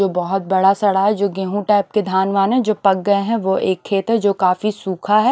जो बहुत बड़ा साड़ा है जो गेहूं टाइप के धान वान है जो पक गए हैं वो एक खेत है जो काफी सुखा है।